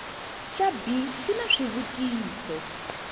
xa b xi na xivutiso